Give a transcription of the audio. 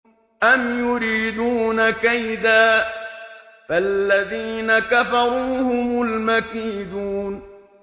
أَمْ يُرِيدُونَ كَيْدًا ۖ فَالَّذِينَ كَفَرُوا هُمُ الْمَكِيدُونَ